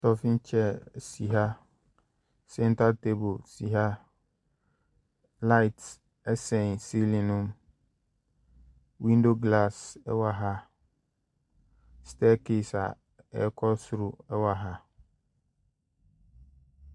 Stɔfin kyɛɛ si ha sɛnta taabo si ha lait ɛsɛn silin no mu windo glaase ɛwɔ ha stɛkais a ɛkɔ soro ɛwɔ ha.